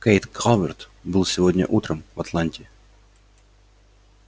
кэйд калверт был сегодня утром в атланте